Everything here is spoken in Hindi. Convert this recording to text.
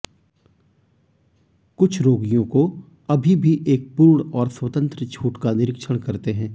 कुछ रोगियों को अभी भी एक पूर्ण और स्वतंत्र छूट का निरीक्षण करते हैं